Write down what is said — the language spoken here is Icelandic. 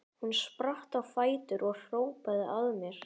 Hún spratt á fætur og hrópaði að mér: